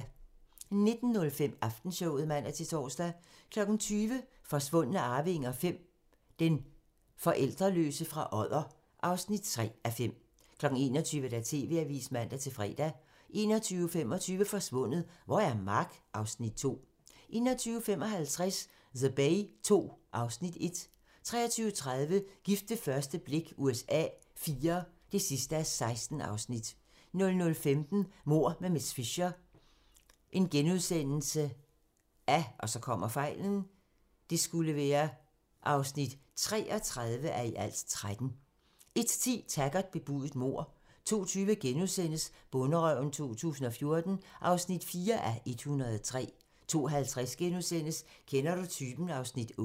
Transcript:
19:05: Aftenshowet (man-tor) 20:00: Forsvundne arvinger V: Den forældreløse fra Odder (3:5) 21:00: TV-avisen (man-fre) 21:25: Forsvundet - hvor er Mark? (Afs. 2) 21:55: The Bay II (Afs. 1) 23:30: Gift ved første blik USA IV (16:16) 00:15: Mord med miss Fisher (33:13)* 01:10: Taggart: Bebudet mord 02:20: Bonderøven 2014 (4:103)* 02:50: Kender du typen? (Afs. 8)*